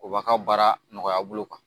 O b'a ka baara nɔgɔya bolo kan